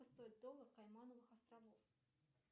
стоит доллар каймановых островов